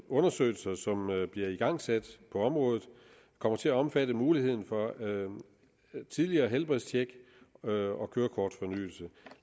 undersøgelser som bliver igangsat på området kommer til at omfatte muligheden for tidligere helbredstjek og kørekortfornyelse